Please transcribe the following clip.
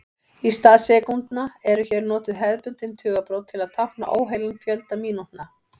Í stað sekúndna eru hér notuð hefðbundin tugabrot til að tákna óheilan fjölda mínútna.